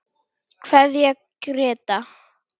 Kveðja Gréta.